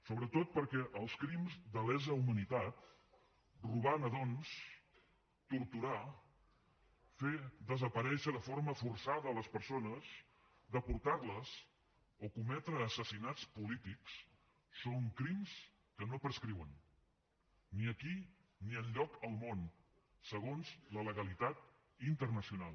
sobretot perquè els crims de lesa humanitat robar nadons torturar fer desaparèixer de forma forçada les persones deportar les o cometre assassinats polítics són crims que no prescriuen ni aquí ni enlloc del món segons la legalitat internacional